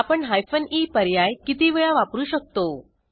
आपण हायफेन ई पर्याय किती वेळा वापरू शकतो